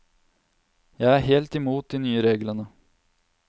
Jeg er helt imot de nye reglene.